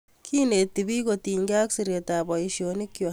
Kineti piik kotinykei ak siret ap poisyonik kwak